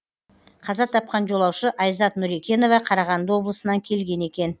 қаза тапқан жолаушы айзат нүрекенова қарағанды облысынан келген екен